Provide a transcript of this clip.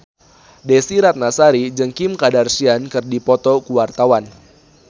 Desy Ratnasari jeung Kim Kardashian keur dipoto ku wartawan